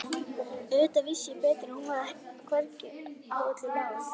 Auðvitað vissi ég betur en hún hvernig í öllu lá.